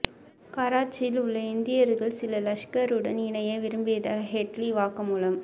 கராச்சியில் உள்ள இந்தியர்கள் சிலர் லஷ்கருடன் இணைய விரும்பியதாக ஹெட்லி வாக்குமூலம்